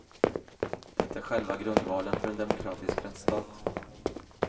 Det är själva grundvalen för en demokratisk rättsstat.